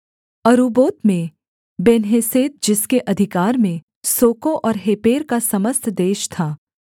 अरुब्बोत में बेन्हेसेद जिसके अधिकार में सोको और हेपेर का समस्त देश था